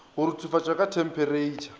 go ruthufatšwa ka themperetšha e